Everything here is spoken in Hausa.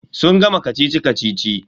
Sun gama kacici-kacici.